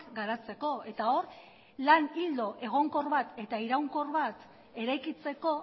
garatzeko eta hor lan ildo egonkor bat eta iraunkor bat eraikitzeko